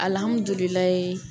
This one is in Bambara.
Alamdulaahi